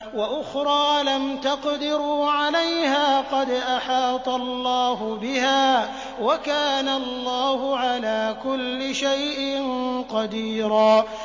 وَأُخْرَىٰ لَمْ تَقْدِرُوا عَلَيْهَا قَدْ أَحَاطَ اللَّهُ بِهَا ۚ وَكَانَ اللَّهُ عَلَىٰ كُلِّ شَيْءٍ قَدِيرًا